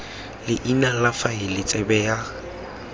leina la faele tsebe ya